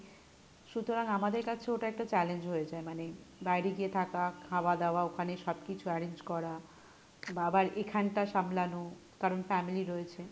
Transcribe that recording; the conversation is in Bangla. সুতরাং আমাদের কাছে ওটা একটু challenge হয়ে যায় মানে বাইরে গিয়ে থাকা, খাওয়া দাওয়া ওখানে সব কিছু arrange করা বা আবার এখানটা সামলানো কারন family রয়েছে,